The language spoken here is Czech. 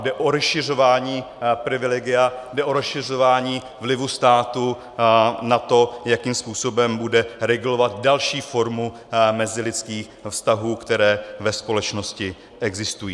Jde o rozšiřování privilegia, jde o rozšiřování vlivu státu na to, jakým způsobem bude regulovat další formu mezilidských vztahů, které ve společnosti existují.